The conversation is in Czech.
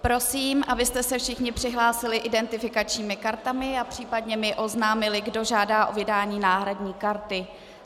Prosím, abyste se všichni přihlásili identifikačními kartami a případně mi oznámili, kdo žádá o vydání náhradní karty.